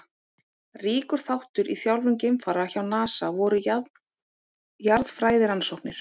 Ríkur þáttur í þjálfun geimfara hjá NASA voru jarðfræðirannsóknir.